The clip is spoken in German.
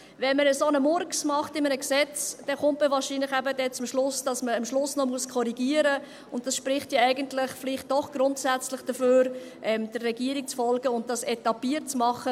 Wenn man in einem Gesetz einen solchen Murks macht, dann kommt man wahrscheinlich eben zum Schluss, dass man am Schluss noch korrigieren muss, und dies spricht ja eigentlich vielleicht doch grundsätzlich dafür, der Regierung zu folgen und es etappiert zu machen.